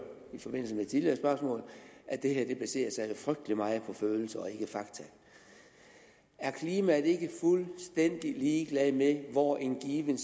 i forbindelse med tidligere spørgsmål at det her jo baserer sig frygtelig meget på følelser og ikke fakta er klimaet ikke fuldstændig ligeglad med hvor en given